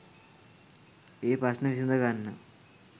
ඒ ප්‍රශ්න විසඳගන්න